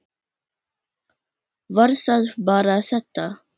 Var það bara þetta?